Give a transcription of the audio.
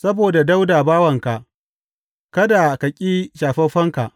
Saboda Dawuda bawanka, kada ka ƙi shafaffenka.